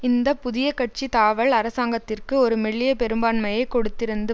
இந்த புதிய கட்சி தாவல் அரசாங்கத்திற்கு ஒரு மெல்லிய பெரும்பான்மையை கொடுத்திருந்த